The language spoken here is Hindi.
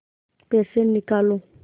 पैसे निकालो